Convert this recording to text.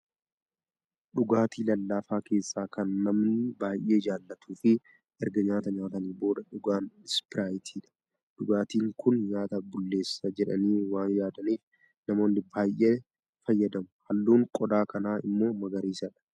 Dhugaatii lallaafaa keessaa kan namni baay'ee jaallatuu fi erga nyaata nyaataniin booda dhugan ispiraayitiidha. Dhugaatiin kun nyaata bulleessa jedhanii waan yaadanif, namoonni baay'ee fayyadamu. Halluun qodaa kanaa immoo magariisa dha.